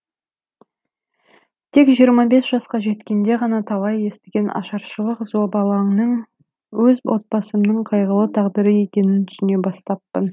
тек жиырма бес жасқа жеткенде ғана талай естіген ашаршылық зобалаңның өз отбасымның қайғылы тағдыры екенін түсіне бастаппын